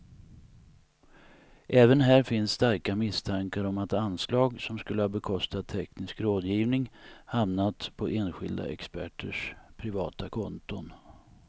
Även här finns starka misstankar om att anslag som skulle ha bekostat teknisk rådgivning hamnat på enskilda experters privata konton.